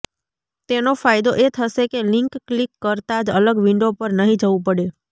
તેનો ફાયદો એ થશે કે લિંક ક્લિક કરતાં જ અલગ વિન્ડો પર નહીં જવું પડે